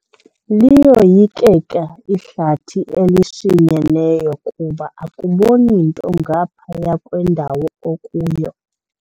Liyoyikeka ihlathi elishinyeneyo kuba akuboni nto ngaphaya kwendawo okuyo.